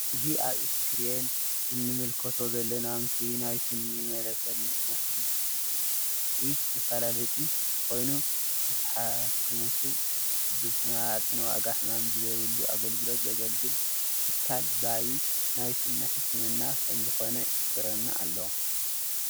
እዚ ኣብ እስክሪን እንምልከቶ ዘለና ምስሊ ናይ ስኒ መፋልለጢ ኮይኑ ንትሓከምቱ ብ ዝተመጣጠነ ዋጋ ሕማም ብዘይብሉ ኣገልግሎትን ዘገልግል ትካል ባቢ ናይ ስኒ ሕክምና ከም ዝኮነ ይሕብረና ኣሎ።